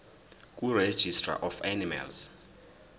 kuregistrar of animals